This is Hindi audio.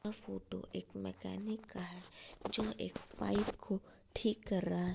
ये फ़ोटो एक मेकेनिक का है जो एक पाइप को ठीक कर रहा है ।